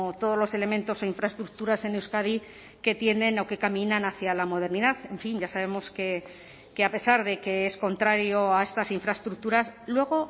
todos los elementos e infraestructuras en euskadi que tienen o que caminan hacia la modernidad en fin ya sabemos que a pesar de que es contrario a estas infraestructuras luego